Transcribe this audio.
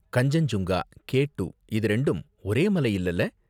Kanchenjunga, K two இது ரெண்டும் ஒரே மலை இல்லேல